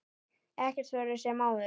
Ekkert verður sem áður.